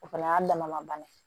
O fana y'a dama ma bana ye